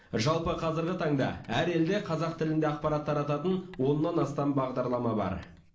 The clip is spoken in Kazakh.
жалпы қазіргі таңда әр елде қазақ тілінде ақпарат тарататын оннан астам бағдарлама бар